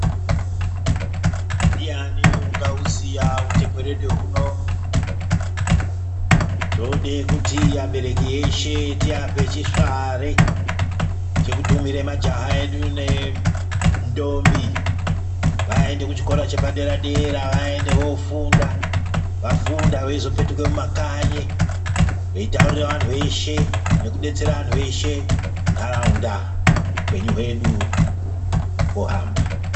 Ndian ungaiziya utekerede hunoda kuti abereki eshe tiape chisvare chekutumira majaha edu nentombi vaende kuchikora chepadera dera vaende kofunda, vafunda veizopetuke mumakanyi veitaurira vantu veshe nekudetsera vantu veshe muntaraunda hupenyu hwedu wohamba.